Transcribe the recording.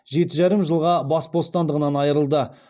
жеті жарым жылға бас бостандығынан айырылды